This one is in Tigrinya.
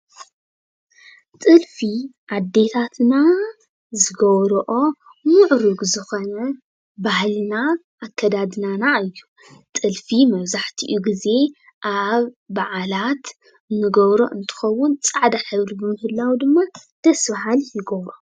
ጥልፊ ኣዴታትና ዝገብረኦ ምዑርግ ዝኮነ ባህሊና ኣከዳድናና እዩ። ጥልፊ መብዛሕቲኡ ግዜ ኣብ ባዓላት እንገብሮ እንትከውን ፃዕዳ ሕብሪ ብምህላው ድማ ደስ ባሃሊ ይገብሮ።